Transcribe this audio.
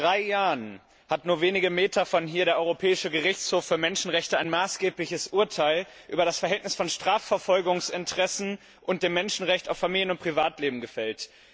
Vor etwa drei Jahren hat nur wenige Meter von hier der Europäische Gerichtshof für Menschenrechte ein maßgebliches Urteil über das Verhältnis von Strafverfolgungsinteressen und dem Menschenrecht auf Familien und Privatleben gefällt.